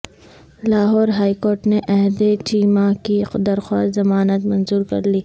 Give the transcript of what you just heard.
Lahore high court نے احد چیمہ کی درخواست ضمانت منظورکرلی